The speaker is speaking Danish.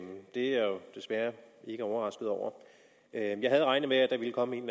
jeg jo desværre ikke overrasket over jeg havde regnet med at der ville komme en